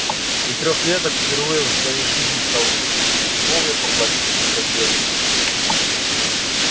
и трёхлеток впервые в своей жизни столкнувшийся с любовью поплатился за неё жизнью